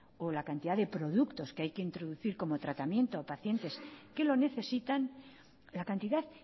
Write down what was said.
o la cantidad de productos que hay que introducir como tratamiento a pacientes que lo necesitan la cantidad